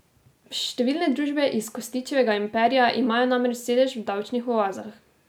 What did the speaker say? Številne družbe iz Kostićevega imperija imajo namreč sedež v davčnih oazah.